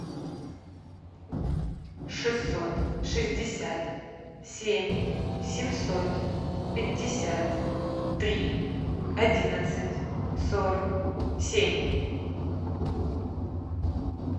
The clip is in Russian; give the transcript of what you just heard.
шестьсот шестьдесят семь семьсот пятьдесят три одиннадцать сорок семь